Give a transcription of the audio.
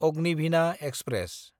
Agnibina express